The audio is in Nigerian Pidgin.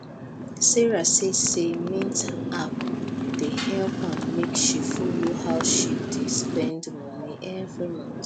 sarah see say mint app dey help am make she follow how she dey spend moni every month